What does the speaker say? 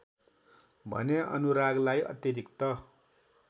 भने अनुरागलाई अतिरिक्त